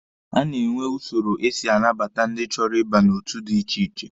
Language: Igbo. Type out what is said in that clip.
A na-enwe usoro esi anabata ndị chọrọ ịba n'otu dị iche iche.